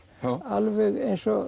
alveg eins og